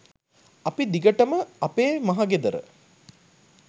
අපි දිගටම අපේ මහ ගෙදර